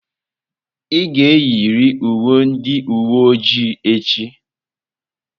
Ị ga-eyiri uwe ndị uwe ojii echi!